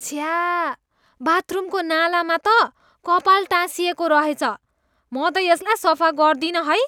छ्या! बाथरुमको नालामा त कपाल टाँसिएको रहेछ। म त यसलाई सफा गर्दिनँ है।